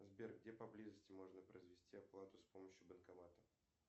сбер где поблизости можно произвести оплату с помощью банкомата